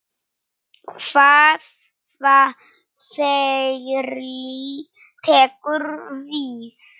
Hvaða ferli tekur við?